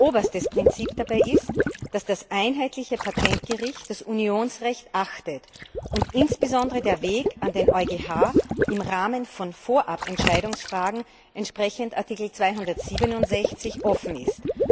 Oberstes Prinzip dabei ist, dass das einheitliche Patentgericht das Unionsrecht achtet und insbesondere der Weg an den EuGH im Rahmen von Vorabentscheidungsfragen entsprechend Artikel 267 offen ist.